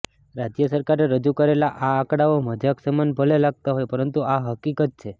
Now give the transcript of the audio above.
રાજ્ય સરકારે રજૂ કરેલા આ આંકડાઓ મજાક સમાન ભલે લાગતા હોય પરંતુ આ હકીકત છે